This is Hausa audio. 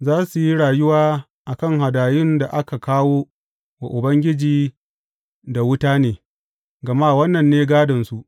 Za su yi rayuwa a kan hadayun da aka kawo wa Ubangiji da wuta ne, gama wannan ne gādonsu.